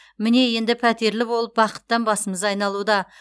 міне енді пәтерлі болып бақыттан басымыз айналуда